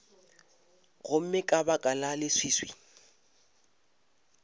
gomme ka baka la leswiswi